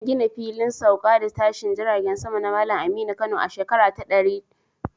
An gina Filin Sauka da Tashin Jiragen Sama na Malam Aminu Kano a shekara ta 1936.